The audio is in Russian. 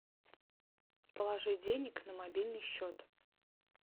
положи денег на мобильный счет